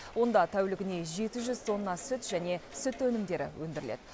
онда тәулігіне жеті жүз тонна сүт және сүт өнімдері өндіріледі